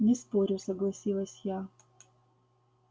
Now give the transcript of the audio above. не спорю согласилась я